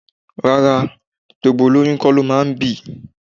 Rárá, gbogbo olóyún kó lo máa ń bì.